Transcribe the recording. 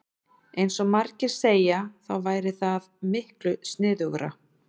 Eins og margir segja þá væri það miklu sniðugra.